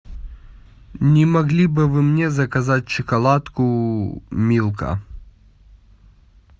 не могли бы вы мне заказать шоколадку милка